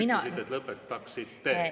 Te ütlesite, et lõpetaksite.